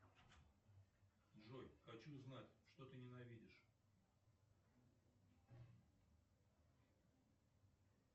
джой хочу знать что ты ненавидишь